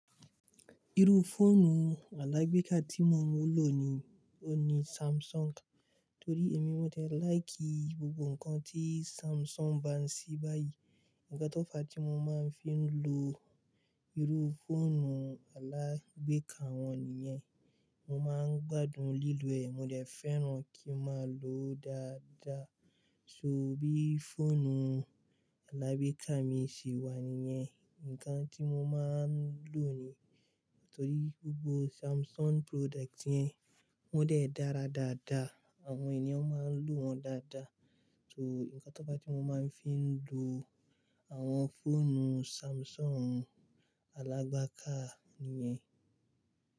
Irú fóònù alágbèéká tí mo ń lò ní, ó ní Samsung. Torí èmi mó jẹ láì kí gbogbo ǹkan tí Samsung bá ń ṣí báyìí, ǹkán tó fa tí mo máa ń fi ń lo irú fóònù alágbèéká wọn nìyẹn. Mo máa ń gbádùn lílò ẹ̀, mo lè fẹ́ràn kí má lòó dáadáa. So bí fóònù alágbèéká mi ṣe wà níyẹn, ǹkan tí mo máa ń lò ní. Nítorí gbogbo Samsung product yẹn wọ́n dẹ́ dára dáadáa, àwọn ènìyàn máa ń lò wọn dáadáa. So ǹkan tó fa tí mo máa ń fi ń lo àwọn fóònù Samsung alágbááká nìyẹn.